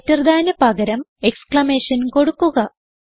greater thanന് പകരം exclamation കൊടുക്കുക